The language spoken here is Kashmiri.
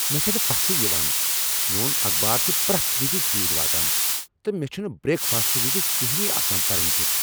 مےٚ چھنہٕ پژھٕے یوان! میون اخبار چھ پریتھ وزِ ژیرۍ واتان، تہٕ مےٚ چھنہٕ بریک فاسٹہٕ وز کِہنۍ آسان پرُن کیُتھ۔